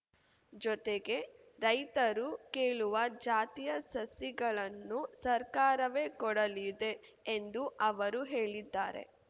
ಜೊತೆಗೆ ರೈತರು ಕೇಳುವ ಜಾತಿಯ ಸಸಿಗಳನ್ನೂ ಸರ್ಕಾರವೇ ಕೊಡಲಿದೆ ಎಂದೂ ಅವರು ಹೇಳಿದ್ದಾರೆ